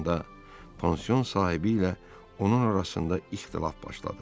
Bundan da pansion sahibi ilə onun arasında ixtilaf başladı.